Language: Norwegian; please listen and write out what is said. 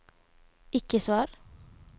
ikke svar